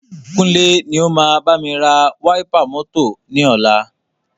Kúnlé ni o máa bámi ra wáípà mọ́tọ̀ ni ọ̀la.